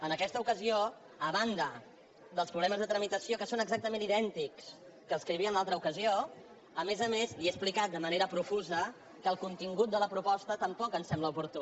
en aquesta ocasió a banda dels problemes de tramitació que són exactament idèntics que els que hi havia en l’altra ocasió a més a més li he explicat de manera profusa que el contingut de la proposta tampoc em sembla oportú